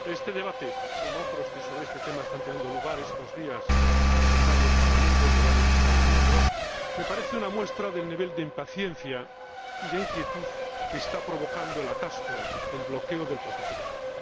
Señor Presidente, este debate, como otros que sobre este tema están teniendo lugar estos días en varios Parlamentos de varios Estados miembros, me parece una muestra del nivel de impaciencia y de inquietud que está provocando el atasco, el bloqueo del proceso de paz.